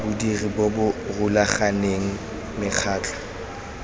bodiri bo bo rulaganeng mekgatlho